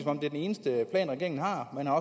om det er den eneste plan regeringen har man har